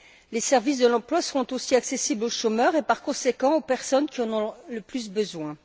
Les services de l'emploi seront aussi accessibles aux chômeurs et, par conséquent, aux personnes qui en ont le plus besoin.